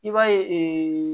I b'a ye